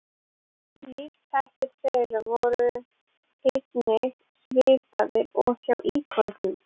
Lífshættir þeirra voru einnig svipaðir og hjá íkornum.